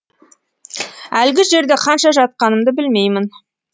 әлгі жерде қанша жатқанымды білмеймін